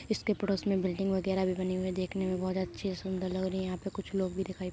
इसके पड़ोस में एक बिल्डिंग वगेरा बनी हुई है देखने में बोहोत अच्छी सुन्दर लग रही है यहाँ पर कुछ लोग भी दिखाई --